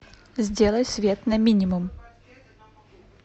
сделай свет на минимум